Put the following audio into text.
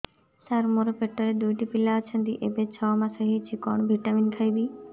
ସାର ମୋର ପେଟରେ ଦୁଇଟି ପିଲା ଅଛନ୍ତି ଏବେ ଛଅ ମାସ ହେଇଛି କଣ ଭିଟାମିନ ଖାଇବି